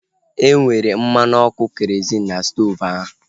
E nwere mmanụ ọkụ kerozịn n'stoovu ahu